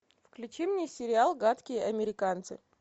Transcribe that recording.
включи мне сериал гадкие американцы